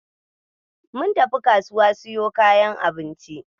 Mun tafi kasuwa siyo kayan abinci.